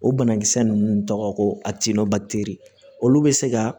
O banakisɛ ninnu tɔgɔ ko a tiɲɛn'o teri olu bɛ se ka